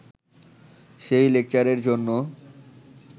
সেই লেকচারের জন্য